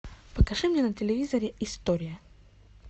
покажи мне на телевизоре история